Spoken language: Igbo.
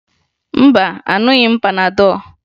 Mba, aṅụghị m panadọ